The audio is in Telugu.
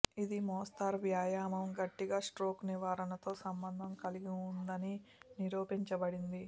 ఇది మోస్తరు వ్యాయామం గట్టిగా స్ట్రోక్ నివారణతో సంబంధం కలిగి ఉందని నిరూపించబడింది